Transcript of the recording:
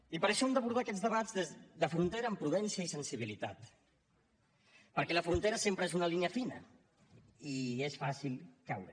i per això hem d’abordar aquests debats de frontera amb prudència i sensibilitat perquè la frontera sempre és una línia fina i és fàcil caure